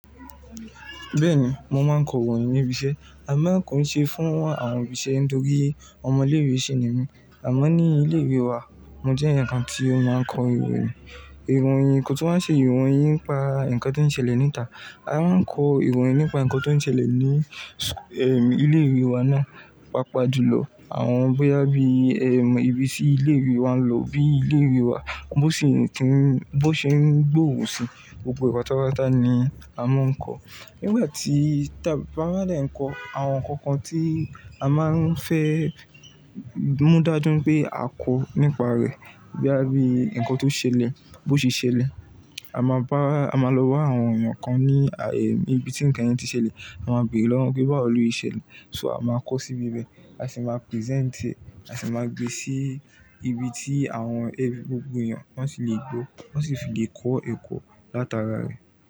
Bẹ́ẹ̀ni, mo máa ń kọ ìròyìn níbi iṣẹ́. A máa kọ ìṣe fún àwọn ibiṣẹ́ nítorí ọmọ ilé ìwé sì ni mí. Àmọ́ ní ilé ìwé wa, mo jẹ́ ẹnìkan tí ó máa ń kọ ìròyìn. Ìròyìn kò tún máa ń ṣe ìròyìn nípa nǹkan tó ń ṣẹlẹ̀ níta. A máa ń kọ ìròyìn nípa nǹkan tó ń ṣẹlẹ̀ ní, ilé ìwé wa náà. Papajùlọ àwọn bóyá bí, ibi tí ilé ìwé wa ń lò bí ilé ìwé wa, bó ṣe ń ti, bó ṣe ń gbòòrò sí, gbogbo pátápátá ni a máa ń kọ. Nígbà tí, tábà máa dà ẹ́ kọ, àwọn nǹkan kan tí a máa ń fẹ́ mú dájú pé a kọ nípa rẹ̀ bóyá bí ǹkan tó ṣẹlẹ̀, bó ṣe ṣẹlẹ̀. A máa bá-- a máa lọ bá àwọn èèyàn kan ní, ibi tí ǹkan yẹn ti ṣẹlẹ̀. A máa bèèrè lọ́wọ́ wọn pé báwo lo ṣe ṣẹ̀lẹ̀. So a máa kọ síbi ibẹ̀, a sì máa present, a sì máa gbe sí ibi tí àwọn, ẹ, gbogbo èèyàn wọ́n sì le gbó, wọ́n sì fi le kọ ẹ̀kọ́ látara rẹ̀.